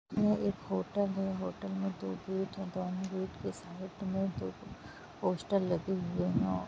ये एक होटल है होटल में दो गेट है दोनों गेट के साइड में दो पोस्टर लगे हुए है।